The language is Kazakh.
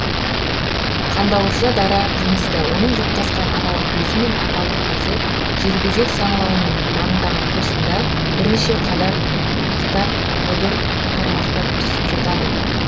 қандауырша дара жынысты оның жұптасқан аналық безі мен аталық безі желбезек саңылауының маңындағы қуысында бірнеше қатар бұдыр тармақтар түзіп жатады